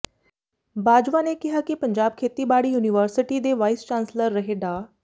ਬਾਜਵਾ ਨੇ ਕਿਹਾ ਕਿ ਪੰਜਾਬ ਖੇਤੀਬਾੜੀ ਯੂਨੀਵਰਸਿਟੀ ਦੇ ਵਾਈਸ ਚਾਂਸਲਰ ਰਹੇ ਡਾ